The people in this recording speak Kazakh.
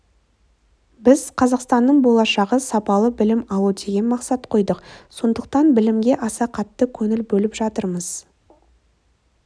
біз қазақстанның болашағы сапалы білім алу деген мақсат қойдық сондықтан білімге аса қатты көңіл бөліп жатырмыз